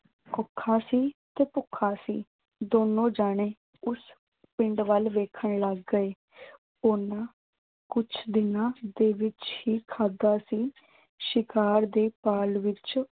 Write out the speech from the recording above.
ਔਖਾ ਸੀ ਤੇ ਭੁੱਖਾ ਸੀ। ਦੋਨੋਂ ਜਾਣੇ ਉਸ ਪਿੰਡ ਵੱਲ ਵੇਖਣ ਲੱਗ ਗਏ। ਉਨ੍ਹਾਂ ਕੁਛ ਦਿਨਾਂ ਦੇ ਵਿੱਚ ਹੀ ਖਾਧਾ ਸੀ। ਸ਼ਿਕਾਰ ਦੀ ਭਾਲ ਵਿੱਚ